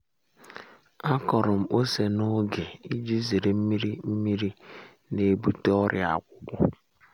a kọrọ m ose n’oge iji zere nmiri nmiri na-ebute ọrịa akwụkwọ um